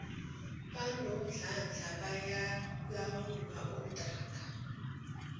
banomdlandla bayalawulwa ontanga